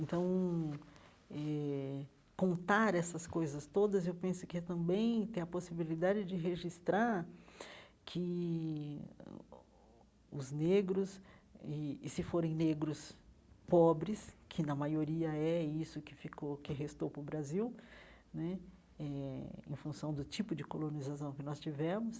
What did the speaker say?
Então eh, contar essas coisas todas, eu penso que é também ter a possibilidade de registrar que os negros, e e se forem negros pobres, que na maioria é isso que ficou que restou para o Brasil né eh, em função do tipo de colonização que nós tivemos,